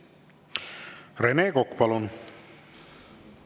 Rene Kokk, palun!